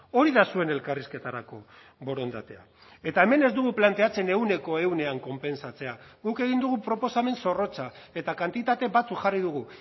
hori da zuen elkarrizketarako borondatea eta hemen ez dugu planteatzen ehuneko ehunean konpentsatzea guk egin dugu proposamen zorrotza eta kantitate batzuk jarri dugu